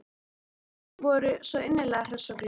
Þau voru svo innilega hress og glöð.